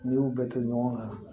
N'i y'u bɛɛ to ɲɔgɔn na